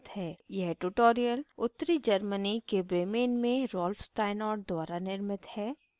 यह ट्यूटोरियल उत्तरी germany के bremen में rolf steinort द्वारा निर्मित है